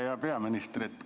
Hea peaminister!